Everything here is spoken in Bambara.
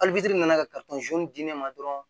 nana ka di ne ma dɔrɔn